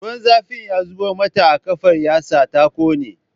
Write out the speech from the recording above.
Ruwan zafi ya zubo mata a ƙafar yasa ta ƙone